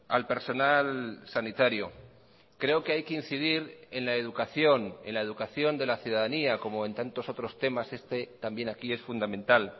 al personal sanitario creo que hay que incidir en la educación en la educación de la ciudadanía como en tantos otros temas este también aquí es fundamental